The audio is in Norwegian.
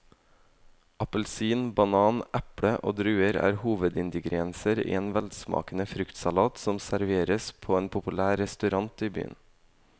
Appelsin, banan, eple og druer er hovedingredienser i en velsmakende fruktsalat som serveres på en populær restaurant i byen.